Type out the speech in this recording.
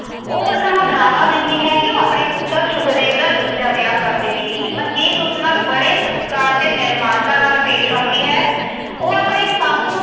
ਉਹ ਉਸਨੂੰ ਡਰਾਵਾ ਦਿੰਦੀ ਹੈ ਕਿ ਆਪਣੇ ਪੁੱਤਰ ਸੁਖਦੇਵ ਦਾ ਦੂਜਾ ਵਿਆਹ ਕਰ ਦੇਵੇਗੀ। ਮਨਜੀਤ ਉਸ ਨਾਲ ਬੜੇ ਸਤਿਕਾਰ ਤੇ ਨਿਮਰਤਾ ਨਾਲ ਪੇਸ਼ ਆਉਂਦੀ ਹੈ। ਉਹ ਆਪਣੀ ਸੱਸ ਨੂੰ